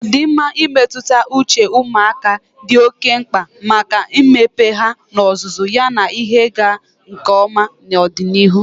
Ọdịmma mmetụta uche ụmụaka dị oke mkpa maka mmepe ha n'ozuzu yana ihe ịga nke ọma n'ọdịnihu.